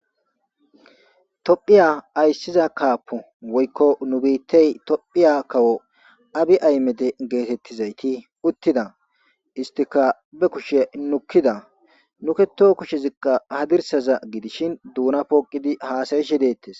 tophiya ayssiza kaapu woykko nu biittey tophiya kawo abi aymede geetettizayti uttida istika be kushe nukkida nuketo kushe zikqa hadirsaza gidishin duuna pooqidi haasayishe deettes